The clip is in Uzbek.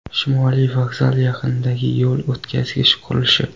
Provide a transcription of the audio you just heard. Shimoliy vokzal yaqinidagi yo‘l o‘tkazgich qurilishi .